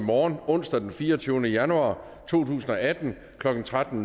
i morgen onsdag den fireogtyvende januar to tusind og atten klokken tretten